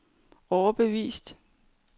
overbevist